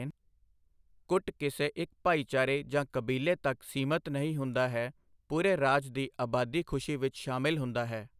ਕੁੱਟ ਕਿਸੇ ਇੱਕ ਭਾਈਚਾਰੇ ਜਾਂ ਕਬੀਲੇ ਤੱਕ ਸੀਮਤ ਨਹੀਂ ਹੁੰਦਾ ਹੈ ਪੂਰੇ ਰਾਜ ਦੀ ਆਬਾਦੀ ਖੁਸ਼ੀ ਵਿੱਚ ਸ਼ਾਮਲ ਹੁੰਦਾ ਹੈ।